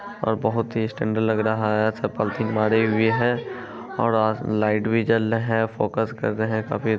और बहुत ही स्टैण्डर्ड लग रहा है है और लाइट भी जल रहे हैं फोकस कर रहे हैं काफी |